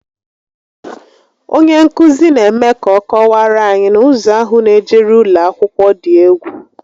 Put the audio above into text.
Onye nkụzi n'eme ka ọ kọwaara anyị na ụzọ ahụ n'ejeru ụlọakwụkwọ dị egwu